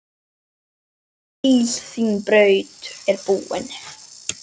Hvíl, þín braut er búin.